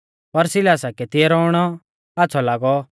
पर सिलासा कै तिऐ रौउणौ आच़्छ़ौ लागौ